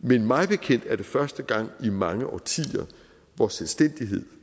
men mig bekendt er det første gang i mange årtier hvor selvstændighed